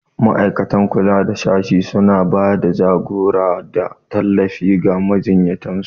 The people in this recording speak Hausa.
Ma'aikatan kula da sashe suna ba da jagora da tallafi ga majiyyatan su.